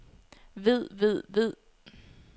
ved ved ved